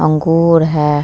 अंगूर है ।